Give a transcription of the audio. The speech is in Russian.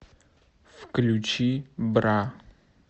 включи бра